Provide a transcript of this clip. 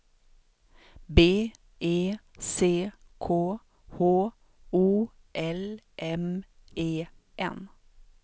B E C K H O L M E N